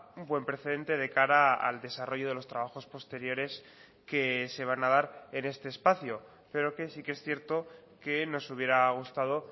un buen precedente de cara al desarrollo de los trabajos posteriores que se van a dar en este espacio pero que sí que es cierto que nos hubiera gustado